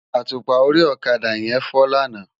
Átúpá óri òkadá yèn fò làná